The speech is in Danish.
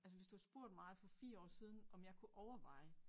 Altså hvis du har spurgt mig for 4 år siden om jeg kunne overveje